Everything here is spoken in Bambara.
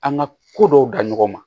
An ka ko dɔw da ɲɔgɔn ma